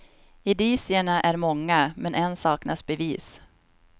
Indicierna är många, men än saknas bevis.